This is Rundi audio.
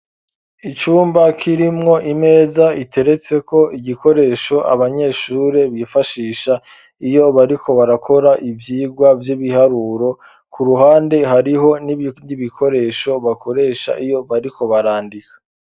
Icumba kirimwo imeza iteretseko igikoresho abanyeshure bifashisha iyo bariko barakora ivyirwa vy'ibiharuro ku ruhande hariho n'ibikoresho bakoresha iyo bariko barandika.